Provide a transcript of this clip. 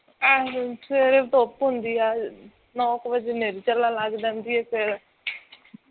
ਆ ਹੋ ਸਵੇਰੇ ਧੁੱਪ ਹੁੰਦੀ ਹੈ ਨੋਕ ਵਜੇ ਨੇਰੀ ਚੱਲਣ ਲੱਗ ਜਾਂਦੀ ਜਾਂ ਫਿਰ